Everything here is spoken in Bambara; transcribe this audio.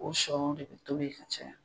O sɔw de bi tobi ka caya .